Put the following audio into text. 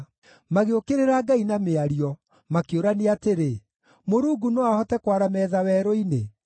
Magĩũkĩrĩra Ngai na mĩario, makĩũrania atĩrĩ, “Mũrungu no ahote kwara metha werũ-inĩ?